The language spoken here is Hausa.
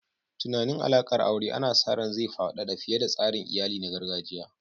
Tunanin alaƙar aure ana sa ran zai faɗaɗa fiye da tsarin iyali na gargajiya.